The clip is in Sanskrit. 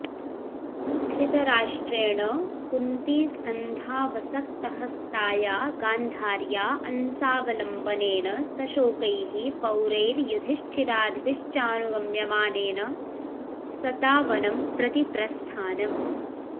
धृतराष्ट्रेण कुन्तीस्कन्धावसक्तहस्ताया गान्धार्या अंसावलम्बनेन सशोकैः पौरैर्युधिष्ठिरादिभिश्चानुगम्यमानेन सता वनं प्रति प्रस्थानम्